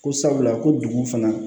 Ko sabula ko dugu fana